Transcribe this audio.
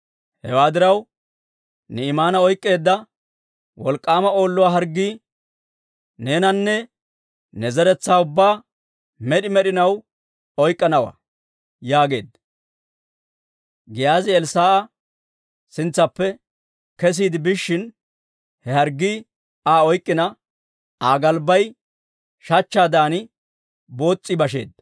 Hewaa diraw, Ni'imaana oyk'k'iidda wolk'k'aama Oolluwaa harggii neenanne ne zeretsaa ubbaa med'i med'inaw oyk'k'anawaa» yaageedda. Giyaazi Elssaa'a sintsaappe kesiide biishshin, he harggii Aa oyk'k'ina, Aa galbbay shachchaadan boos's'i basheedda.